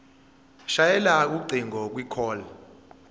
shayela ucingo kwicall